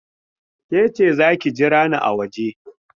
Ke ce, za ki jira ni a waje!